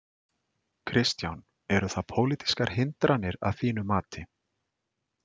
Kristján: Eru það pólitískar hindranir að þínu mati?